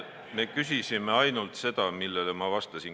Me küsisime ainult seda, miks Indrek ära läheb.